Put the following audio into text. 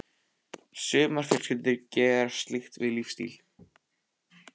Sumar fjölskyldur gera slíkt að lífsstíl.